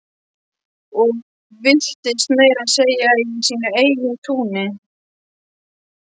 Og villtist meira að segja í sínu eigin túni.